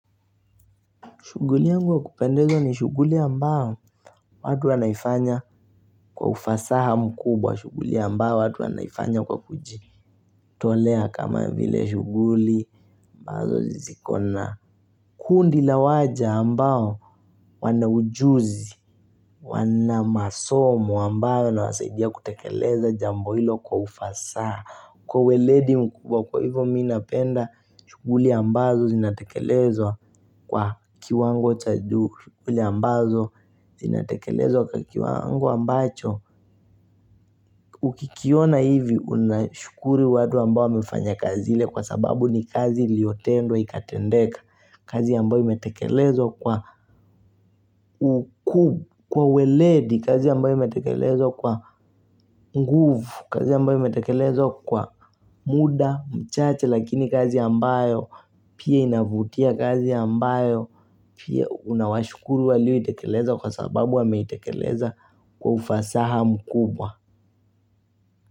Shughuli yangu wa kupendeza ni shughuli ambao watu wanaifanya kwa ufasaha mkubwa shughuli ambao watu wanaifanya kwa kujitolea kama vile shughuli. Ambazo ziko na kundi la waja ambao wana ujuzi, wana masomo ambao inawasaidia kutekeleza jambo hilo kwa ufasaha. Kwa uweledi mkubwa kwa hivyo mi napenda shughuli ambazo zinatekelezwa kwa kiwango cha juu shughuli ambazo zinatekelezo kwa kiwango ambacho. Ukikiona hivi unashukuru watu ambayo wamefanya kazi ile kwa sababu ni kazi iliotendwa ikatendeka. Kazi ambao imetekelezwa kwa ukuu kwa uweledi, kazi ambayo imetekelezwa kwa nguvu, kazi ambayo imetekelezwa kwa muda, mchache, lakini kazi ambayo pia inavutia kazi ambayo pia unawashukuru walio itekeleza kwa sababu wameitekeleza kwa ufasaha mkubwa.